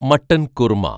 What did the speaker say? mutton kurma